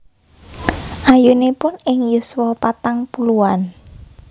Ayunipun ing yuswa patang puluhan